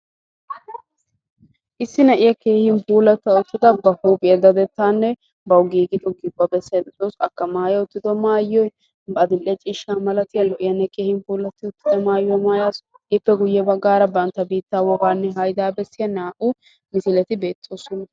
Issi na'iyaa keehin puulatta uttada ba huuphphiyaa dadettanne bawu giigida huuphphiyaa bessayda de'awus. akka maaya uttido maayoy adil"e ciishsha mera malatiyaagee lo"iyaanne keehin puulatti uttida maayuwaa maaya uttasu. ippe guye baggaara bantta biittaa haydaa bessiyaa naa"u misileti beettoosona.